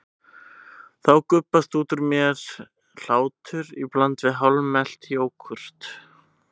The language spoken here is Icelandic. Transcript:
Þá gubbast út úr mér hlátur í bland við hálfmelt jógúrt.